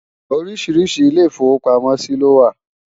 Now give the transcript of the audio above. oríṣiríṣi ilé ifowo pàmò sí ló wà